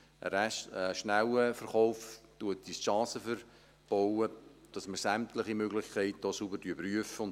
Ein schneller Verkauf verbaut uns die Chancen, dass wir sämtliche Möglichkeiten sauber prüfen.